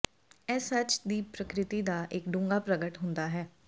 ਇਹ ਸੱਚ ਦੀ ਪ੍ਰਕਿਰਤੀ ਦਾ ਇਕ ਡੂੰਘਾ ਪ੍ਰਗਟ ਹੁੰਦਾ ਹੈ